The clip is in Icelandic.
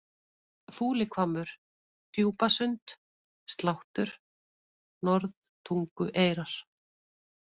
Fúlihvammur, Djúpasund, Sláttur, Norðtungueyrar